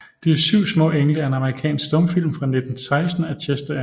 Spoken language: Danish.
De syv smaa Engle er en amerikansk stumfilm fra 1916 af Chester M